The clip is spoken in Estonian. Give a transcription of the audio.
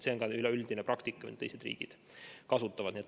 See on üleüldine praktika, mida kasutavad ka teised riigid.